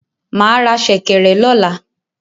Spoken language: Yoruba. Mà á ra ṣẹ̀kẹ̀rẹ̀ lọ̀la